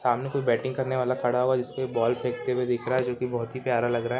सामने कोई बैटिंग करने वाला खड़ा हुआ हैं जिसपे बॉल फेकते हुए दिख रहा हैं जो की बहुत ही प्यारा लग रहा हैं।